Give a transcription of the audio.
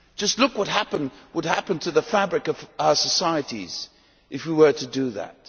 Just look what would happen to the fabric of our societies if we were to do that.